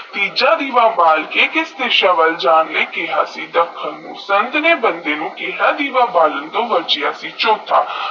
ਤੀਜਾ ਦੀਵਾ ਬਾਲ ਕੇ ਕਿੱਸ ਦੀਸਾ ਵਾਲ ਜਾਨ ਨੈ ਕਿਹਾ ਸੀ ਬੰਦੇ ਸੰਤ ਨੇਈ ਕੇਡਾ ਦੀਵਾ ਬਾਲਣ ਨੂੰ ਮਚਿਆ ਸੀ ਚੋਥਾ